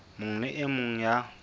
mong le e mong ya